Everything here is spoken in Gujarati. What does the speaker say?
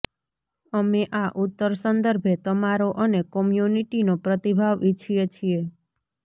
અમે આ ઉત્તર સંદર્ભે તમારો અને કોમ્યુનિટીનો પ્રતિભાવ ઈચ્છીએ છે